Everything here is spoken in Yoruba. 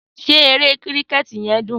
Sé eré kíríkẹ̀tì yen dún?